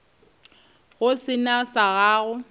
go se na sa go